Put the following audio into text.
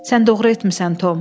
Sən doğru etmisən, Tom.